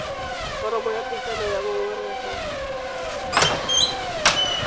foromo ya pegelo ya ngongorego